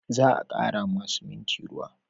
Za a kara ma siminti ruwa